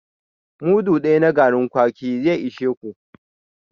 Mudu daya na garin kwaki zai ishi kowa